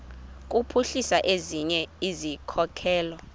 kuphuhlisa ezinye izikhokelo